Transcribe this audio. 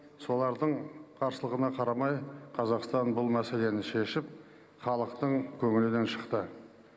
солардың қарсылығына қарамай қазақстан бұл мәселені шешіп халықтың көңілінен шықты